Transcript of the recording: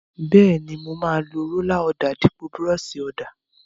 Bẹ́ẹ̀ni, mo máa lo rólà ọ̀dà dípò búrọ́ọ̀ṣì ọ̀dà.